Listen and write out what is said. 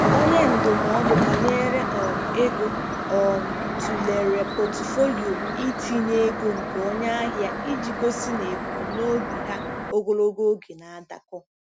Onye ndụmọdụ banyere um ego um tụlere pọtụfoliyo itinye ego nke onye ahịa iji gosi na ebumnobi ha ogologo oge na-adakọ.